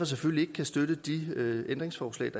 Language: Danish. selvfølgelig ikke kan støtte de ændringsforslag